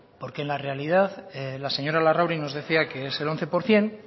porque en la realidad la señora larrauri nos decía que es el once por ciento